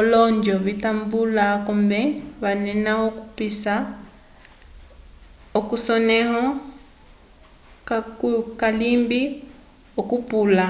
olonjo vitambula akombe vanena okupisa k’esonẽho kacukalimbe okupula